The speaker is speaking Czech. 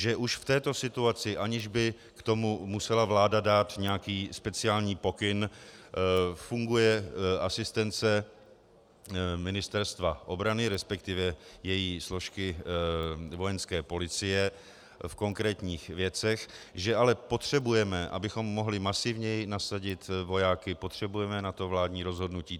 Že už v této situaci, aniž by k tomu musela vláda dát nějaký speciální pokyn, funguje asistence Ministerstva obrany, respektive její složky Vojenské policie, v konkrétních věcech, že ale potřebujeme, abychom mohli masivněji nasadit vojáky, potřebujeme na to vládní rozhodnutí.